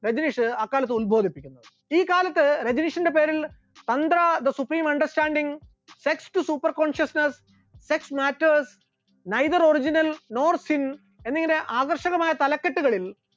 രജനീഷ് അക്കാലത്ത് ഉൽബോധിപ്പിക്കുന്നു, ഈ കാലത്ത് രജനീഷിന്റെ പേരിൽ അന്ത്ര the supreme understanding, sex to super consciuosness, sex matters, neither the original nor sin എന്നിങ്ങനെ ആകർഷകമായ തലകെട്ടുകളിൽ